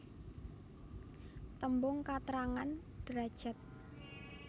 Tembung katrangan derajad